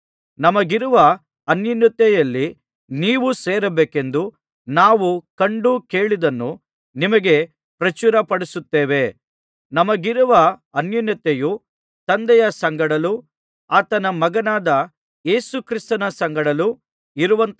ನಮಗಿರುವ ಅನ್ಯೋನ್ಯತೆಯಲ್ಲಿ ನೀವೂ ಸೇರಬೇಕೆಂದು ನಾವು ಕಂಡು ಕೇಳಿದ್ದನ್ನು ನಿಮಗೆ ಪ್ರಚುರಪಡಿಸುತ್ತೇವೆ ನಮಗಿರುವ ಅನ್ಯೋನ್ಯತೆಯು ತಂದೆಯ ಸಂಗಡಲೂ ಆತನ ಮಗನಾದ ಯೇಸು ಕ್ರಿಸ್ತನ ಸಂಗಡಲೂ ಇರುವಂಥದ್ದಾಗಿದೆ